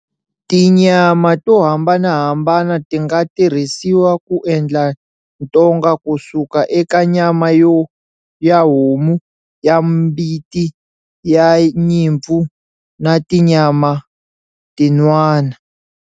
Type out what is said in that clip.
Tinyama to hambanahambana ti nga tirhisiwa ku endla ntonga, kusuka eka nyama ya homu, ya mbiti, ya nyimpfu, na tinyama tin'wana.